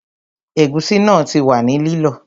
Ẹ̀gúsí náà ti wà ní lílọ